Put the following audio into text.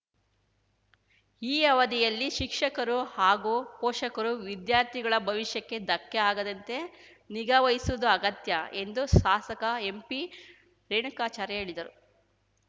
ಈ ಅವಧಿಯಲ್ಲಿ ಶಿಕ್ಷಕರು ಹಾಗೂ ಪೋಷಕರು ವಿದ್ಯಾರ್ಥಿಗಳ ಭವಿಷ್ಯಕ್ಕೆ ಧಕ್ಕೆ ಆಗದಂತೆ ನಿಗಾ ವಹಿಸುವುದು ಅಗತ್ಯ ಎಂದು ಶಾಸಕ ಎಂಪಿ ರೇಣುಕಾಚಾರ್ಯ ಹೇಳಿದರು